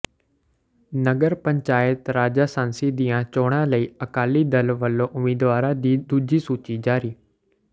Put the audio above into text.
ਨਗਰ ਪੰਚਾਇਤ ਰਾਜਾਸਾਂਸੀ ਦੀਆਂ ਚੋਣਾਂ ਲਈ ਅਕਾਲੀ ਦਲ ਵਲੋਂ ਉਮੀਦਵਾਰਾਂ ਦੀ ਦੂਜੀ ਸੂਚੀ ਜਾਰੀ